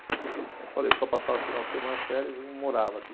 Como eu te falei, eu só passava final de semana férias e não morava aqui.